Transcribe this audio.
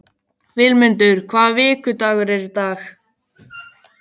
Vilmundur, hvaða vikudagur er í dag?